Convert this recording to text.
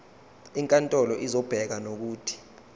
inkantolo izobeka nokuthi